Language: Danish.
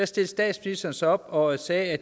statsministeren sig op og sagde